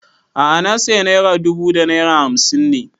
A'a na saya naira dubu da naira hamsin ne